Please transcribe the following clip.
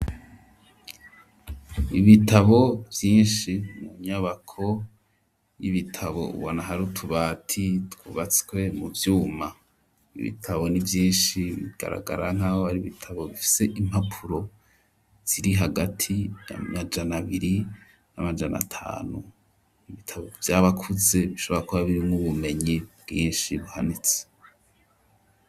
Ibitabo vyinshi mu nyubako y'ibitabo ubona hari utubati twubatswe mu vyuma, ibitabo n'ivyinshi bigaragara nkaho ari ibitabo bifise impapuro ziri hagati y'amajana abiri n'amajana atanu, ibitabo vy'abakuze bishobora kuba birimwo ubumenyi bwinshi buhanitse.